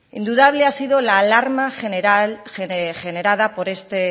indudable ha sido la alarma generada por este